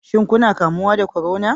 Shin kuna kamuwa da corona?